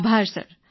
આભાર સર